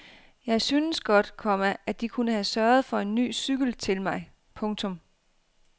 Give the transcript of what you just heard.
Jeg synes godt, komma at de kunne have sørget for en ny cykel til mig. punktum